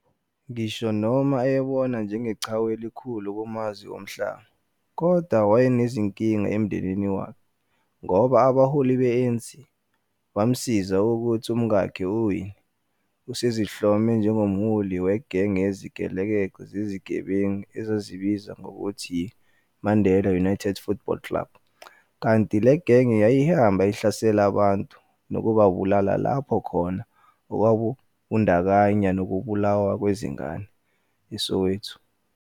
Ngisho noma ayebonwa njengeqhawe elikhulu kumazwe omhlaba, kodwa wayenezinkinga emndenini wakhe, ngoba abaholi be-ANC, bamazisa ukuhti umkakhe uWinnie, usezihlome njengomholi wegenge yezigelekeqe zezigebengu ezazizibiza ngokuthi yi- "Mandela United Football Club", kanti le genge yayihamba ihlasela abantu nokubabulala lapho khona okwakubandakanya noubulawa kwezingane - eSoweto.